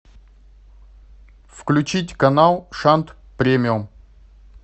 включить канал шант премиум